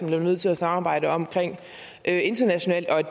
bliver nødt til at samarbejde om internationalt og